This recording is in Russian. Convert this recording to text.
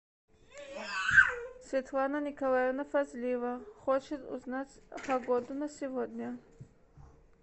светлана николаевна фазлиева хочет узнать погоду на сегодня